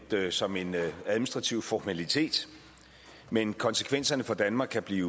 som en administrativ formalitet men konsekvenserne for danmark kan blive